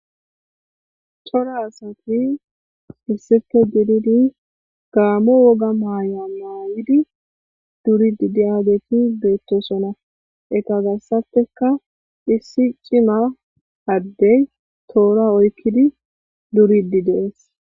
cora asati hissife diridi gaamo woga maaya maayidi duridi diageti beettosona ekazassateka issi cima addey toora oykkidi duridi dees